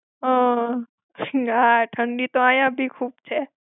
હમ્મ. જી હા, ઠંડી તો અઇયાં બી ખુબ છે.